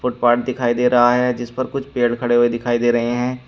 Footpath दिखाई दे रहा है जिस पर कुछ पेड़ खड़े हुए दिखाई दे रहे हैं।